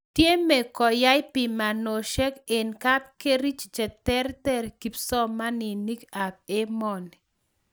Tyeme koyai pimanoshiek en kapkerich ch tererter kipsomaninik ab emoni